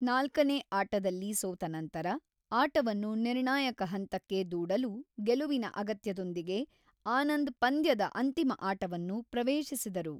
ನಾಲ್ಕನೇ ಆಟದಲ್ಲಿ ಸೋತ ನಂತರ, ಆಟವನ್ನು ನಿರ್ಣಾಯಕ ಹಂತಕ್ಕೆ ದೂಡಲು ಗೆಲುವಿನ ಅಗತ್ಯದೊಂದಿಗೆ ಆನಂದ್ ಪಂದ್ಯದ ಅಂತಿಮ ಆಟವನ್ನು ಪ್ರವೇಶಿಸಿದರು.